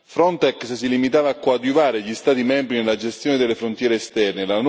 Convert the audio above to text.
Frontex si limitava a coadiuvare gli Stati membri nella gestione delle frontiere esterne.